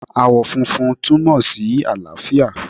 Ààwọ̀ funfun túmọ̀ sí àlàáfíà